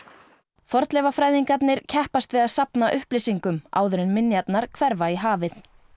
fornleifafræðingarnir keppast við að safna upplýsingum áður en minjarnar hverfa í hafið